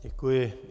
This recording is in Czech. Děkuji.